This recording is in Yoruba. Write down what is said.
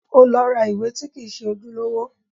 Ó lọ ra ìwé tí kìí ṣe ojúlówó